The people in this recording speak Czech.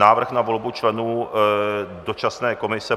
Návrh na volbu členů dočasné komise